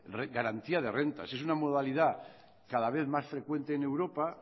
garantía de rentas es una modalidad cada vez más frecuente en europa